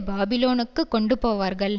பாபிலோனுக்கு கொண்டுபோவார்கள்